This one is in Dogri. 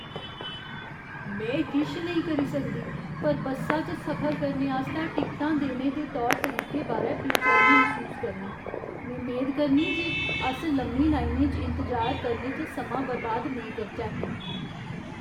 में किश करी नेईं सकदी पर बस्सा च सफर करने आस्तै टिकटां देने दे तौर तरीके बारै बेचैनी मसूस करनीं, में मेद करनीं जे अस लम्मी लाइनें च इंतजार करने च समां बर्बाद नेईं करचै।